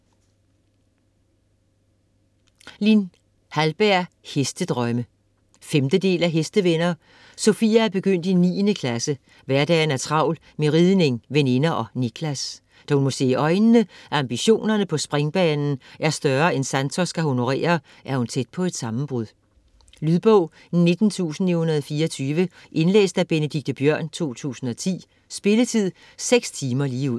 Hallberg, Lin: Hestedrømme 5. del af Hestevenner. Sofia er begyndt i niende klasse, hverdagen er travl med ridning, veninder og Niklas. Da hun må se i øjnene, at ambitionerne på springbanen er større end Santos kan honorere, er hun tæt på et sammenbrud. Lydbog 19924 Indlæst af Benedikte Biørn, 2010. Spilletid: 6 timer, 0 minutter.